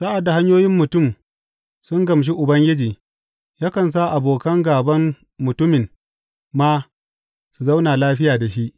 Sa’ad da hanyoyin mutum sun gamshi Ubangiji, yakan sa abokan gāban mutumin ma su zauna lafiya da shi.